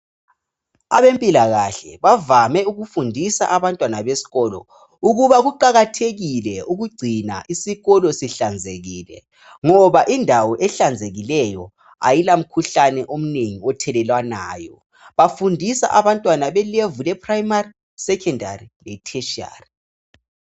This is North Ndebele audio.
Ebempilakahle bavame ukufundisa abantwana besikolo ukuba kuqaksthekile ukugcina isikolo sihlanzekile ngoba indawo ehlanzekileyo ayila mikhuhlane eminengi ethelelanwayo bafundisa abantwana be leveli le primary, secondary le tertiary